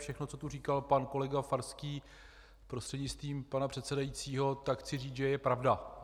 Všechno, co tu říkal pan kolega Farský, prostřednictvím pana předsedajícího, tak chci říct, že je pravda.